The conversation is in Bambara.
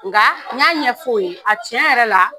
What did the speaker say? Nka n y'a ɲɛ fo ye a tiɲɛ yɛrɛ la.